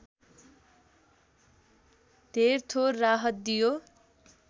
धेरथोर राहत दियो